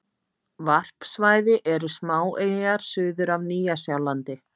Varpsvæði eru smáeyjar suður af Nýja-Sjálandi.